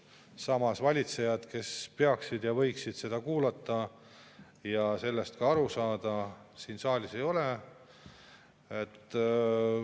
Samas valitsejaid, kes peaksid seda kuulama ja võiksid sellest ka aru saada, saalis ei ole.